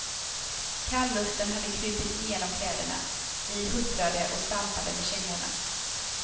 Kalluften hade krupit igenom kläderna, vi huttrade och stampade med kängorna.